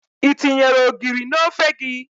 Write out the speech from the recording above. I tinyere ogiri n'ofe gị?